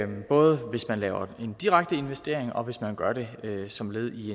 både hvis man laver en direkte investering og hvis man gør det som led i